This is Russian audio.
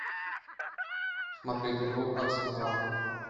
смотреть игру арсенала